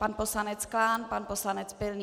Pan poslanec Klán, pan poslanec Pilný.